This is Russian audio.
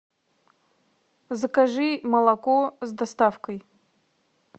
закажи молоко с доставкой